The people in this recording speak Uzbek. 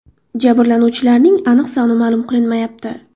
Jabrlanuvchilarning aniq soni ma’lum qilinmayapti.